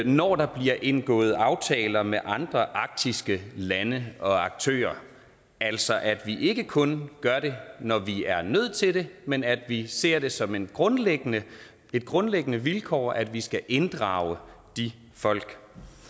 når der bliver indgået aftaler med andre arktiske lande og aktører altså at vi ikke kun gør det når vi er nødt til det men at vi ser det som et grundlæggende grundlæggende vilkår at vi skal inddrage de folk